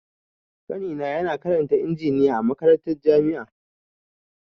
Ƙanina na karanta injiniya a makarantar jami'a.